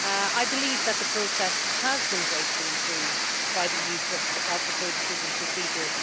I believe the process has been greatly improved by the use of the codecision procedure